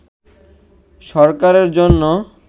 সরকারের জন্য